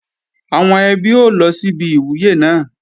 Àwọn ẹbí ó lọ síbi ìwúyè náà